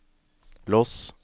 lås